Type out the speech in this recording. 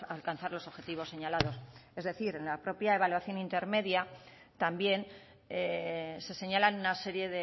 alcanzar los objetivos señalados es decir en la propia evaluación intermedia también se señalan una serie